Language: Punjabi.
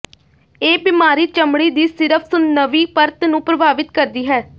ਇਹ ਬਿਮਾਰੀ ਚਮੜੀ ਦੀ ਸਿਰਫ਼ ਸੁੰਨਵੀਂ ਪਰਤ ਨੂੰ ਪ੍ਰਭਾਵਿਤ ਕਰਦੀ ਹੈ